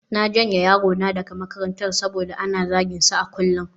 Na janye yarona daga makarantar saboda ana zaginsa a kullum